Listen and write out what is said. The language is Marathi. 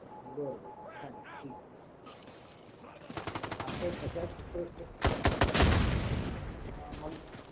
बर चालते ठीक आहे आता अशाच अ